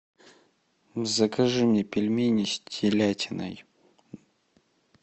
закажи мне пельмени с телятиной